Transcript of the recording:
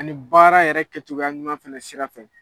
Ani baara yɛrɛ kɛcogoya ɲuman sira fɛ